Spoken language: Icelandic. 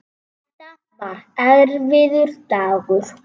Þetta var erfiður dagur.